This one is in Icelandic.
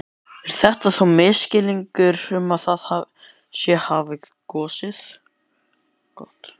Er þetta þá misskilningur að það sé hafið gos?